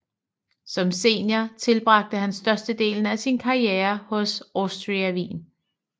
Som senior tilbragte han størstedelen af sin karriere hos Austria Wien